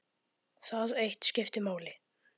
Það eitt skipti máli.